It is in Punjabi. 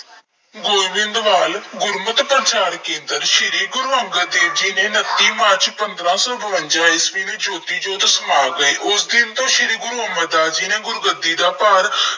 ਗੋਇੰਦਵਾਲ ਗੁਰਮਤਿ ਪ੍ਰਚਾਰ ਕੇਂਦਰ ਸ਼੍ਰੀ ਗੁਰੂ ਅੰਗਦ ਦੇਵ ਜੀ ਨੇ ਉਨੱਤੀ ਮਾਰਚ ਪੰਦਰਾਂ ਸੌ ਬਵੰਜ਼ਾਂ ਈਸਵੀ ਵਿੱਚ ਜੋਤੀ ਜੋਤ ਸਮਾ ਗਏ। ਉਸ ਦਿਨ ਤੋਂ ਸ਼੍ਰੀ ਗੁਰੂ ਅਮਰਦਾਸ ਜੀ ਨੇ ਗੁਰ-ਗੱਦੀ ਦਾ ਭਾਰ